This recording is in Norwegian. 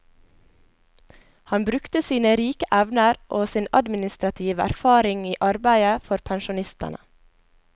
Han brukte sine rike evner og sin administrative erfaring i arbeidet for pensjonistene.